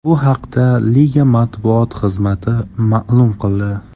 Bu haqda liga matbuot xizmati ma’lum qildi .